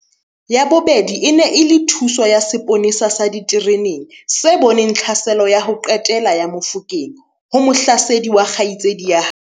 Ya bobedi e ne e le thuso ya seponesa sa ditereneng se boneng tlhaselo ya ho qetela ya Mofokeng ho mohlasedi wa kgaitsedi ya hae.